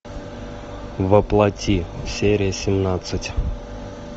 во плоти серия семнадцать